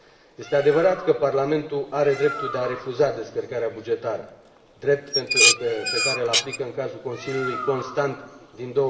Este adevărat că Parlamentul are dreptul de a refuza descărcarea bugetară, drept pe care îl aplică în cazul Consiliului constant din